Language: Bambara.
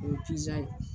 O ye ye